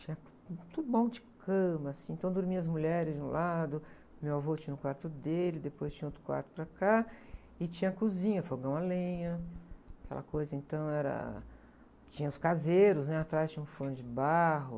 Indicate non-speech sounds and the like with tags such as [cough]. Tinha [unintelligible] bom de cama, assim, então dormiam as mulheres de um lado, meu avô tinha o quarto dele, depois tinha outro quarto para cá, e tinha cozinha, fogão à lenha, aquela coisa então era... Tinha os caseiros, né, atrás tinha um forno de barro.